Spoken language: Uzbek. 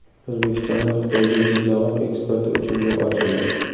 O‘zbekistonda Xitoyga yeryong‘oq eksporti uchun yo‘l ochildi.